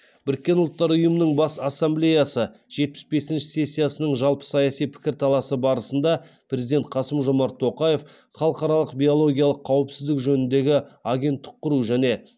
біріккен ұлттар ұйымының бас ассамблеясы жетпіс бесінші сессиясының жалпысаяси пікірталасы барысында президент қасым жомарт тоқаев халықаралық биологиялық қауіпсіздік жөніндегі агенттік құру және